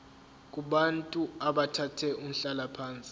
kubantu abathathe umhlalaphansi